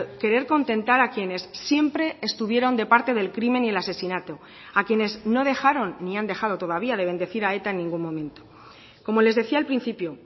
querer contentar a quienes siempre estuvieron de parte del crimen y el asesinato a quienes no dejaron ni han dejado todavía de bendecir a eta en ningún momento como les decía al principio